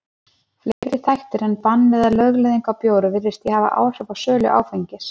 Fleiri þættir en bann eða lögleiðing á bjór virðast því hafa áhrif á sölu áfengis.